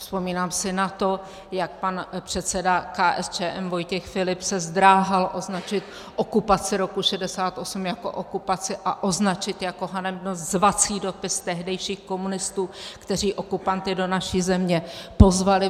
Vzpomínám si na to, jak pan předseda KSČM Vojtěch Filip se zdráhal označit okupaci roku 1968 jako okupaci a označit jako hanebnost zvací dopis tehdejších komunistů, kteří okupanty do naší země pozvali.